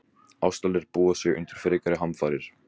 Ástralir búa sig undir frekari hamfarir